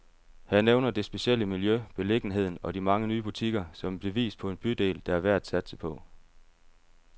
Han nævner det specielle miljø, beliggenheden og de mange nye butikker, som et bevis på en bydel, der er værd at satse på.